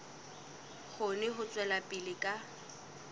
kgone ho tswela pele ka